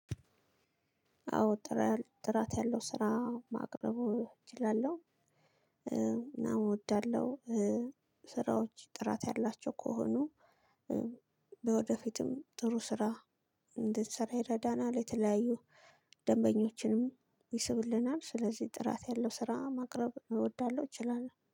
አዎ ጥራ ጥራት ያለው ስራ ማቅረቡ እችላለሁ። እናም ወዳለሁ ስራዎች ጥራት ያላቸው ከሆኑ። ወደፊትም ጥሩ ስራ እንድንሰራ ይረዳናል የተለያዩ ደንበኞችንም ይስብልናል። ስለዚህ ጥራት ያለው ስራ ማቅረብ እወዳለሁ እችላለሁ